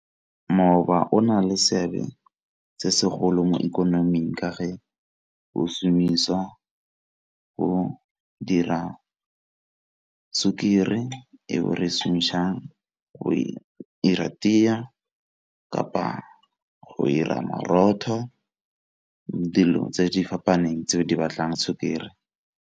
o na le seabe se segolo mo ikonoming ka ga o šomisa go dira sukiri eo re šomišang go 'ira kapa go 'ira boroto dilo tse di fapaneng tseo di batlang sukiri.